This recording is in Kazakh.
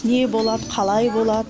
не болады қалай болады